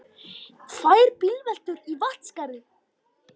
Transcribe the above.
Tvær bílveltur í Vatnsskarði